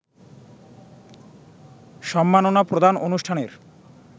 সম্মাননা প্রদান অনুষ্ঠানের